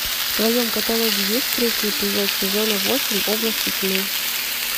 в твоем каталоге есть третий эпизод сезона восемь области тьмы